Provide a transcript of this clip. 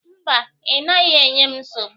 Mba, ị naghị enye m nsogbu